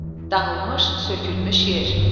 Dağılmış, sökülmüş yer.